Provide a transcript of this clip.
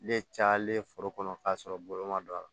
Ne cayalen foro kɔnɔ k'a sɔrɔ bolo ma don a la